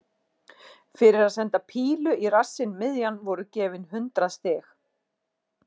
Fyrir að senda pílu í rassinn miðjan voru gefin hundrað stig.